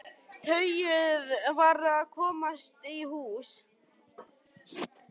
Tauið varð að komast í hús.